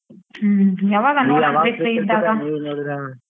ಹ್ಮ್ ಯಾವಾಗ